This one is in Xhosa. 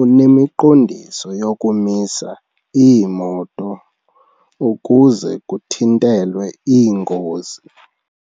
unemiqondiso yokumisa iimoto ukuze kuthintelwe iingozi.